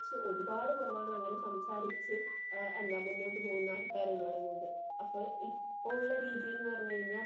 ഒരുപാടു കുറവണ് അങ്ങനെ സംസാരിച്ചു മുന്നോട്ട് പോകുന്ന ആൾക്കാരെന്നു പറയുന്നത്. അപ്പോ ഇപ്പൊ ഉള്ള രീതി എന്നു പറഞ്ഞു കഴിഞ്ഞാൽ.